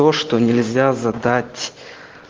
то что нельзя задать